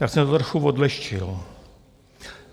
Tak jsem to trochu odlehčil.